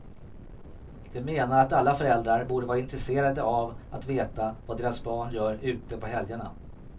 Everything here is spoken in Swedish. De menar att alla föräldrar borde vara intresserade av att veta vad deras barn gör ute på helgerna.